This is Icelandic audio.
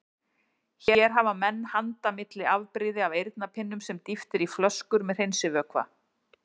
Hér hafa menn handa milli afbrigði af eyrnapinnum sem dýft er í flöskur með hreinsivökva.